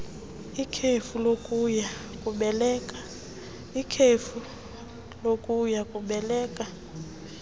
ikhefu lokuya kubeleka